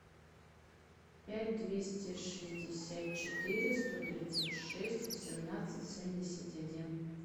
пять двести шестьдесят четыре сто тридцать шесть восемнадцать семьдесят один